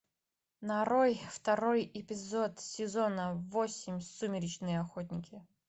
нарой второй эпизод сезона восемь сумеречные охотники